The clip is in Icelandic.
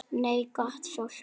Nei, gott fólk.